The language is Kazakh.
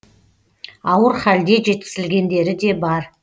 ауыр халде жеткізілгендері де бар